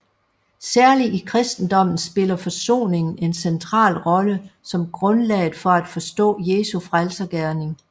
Særligt i kristendommen spiller forsoningen en central rolle som grundlaget for at forstå Jesu frelsergerning